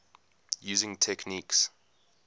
using techniques